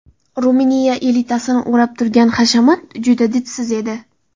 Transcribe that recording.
Ruminiya elitasini o‘rab turgan hashamat juda didsiz edi.